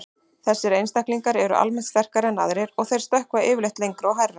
Þessir einstaklingar eru almennt sterkari en aðrir og þeir stökkva yfirleitt lengra og hærra.